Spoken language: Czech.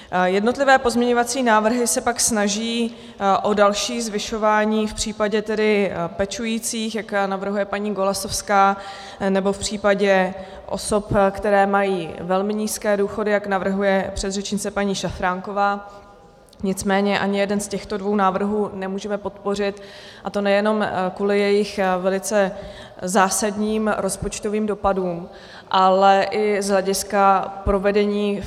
Jednotlivé pozměňovací návrhy se pak snaží o další zvyšování v případě pečujících, jak navrhuje paní Golasowská, nebo v případě osob, které mají velmi nízké důchody, jak navrhuje předřečnice paní Šafránková, nicméně ani jeden z těchto dvou návrhů nemůžeme podpořit, a to nejenom kvůli jejich velice zásadním rozpočtovým dopadům, ale i z hlediska provedení.